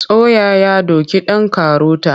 Soya ya doki ɗan karota.